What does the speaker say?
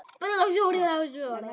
Sama stúlkan var þar ennþá.